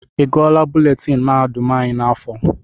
I gụọla buletini mahadum anyị n'afọ?